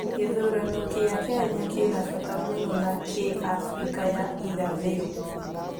Gĩthurano kĩa Kenya kĩna fata muno nĩ kĩ Africa ya Ĩrahĩrũ?